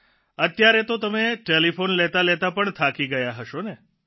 અત્યારે તો તમે ટેલિફોન લેતાલેતા પણ થાકી ગયા હશોને